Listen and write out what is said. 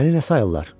Məni nə sayırlar?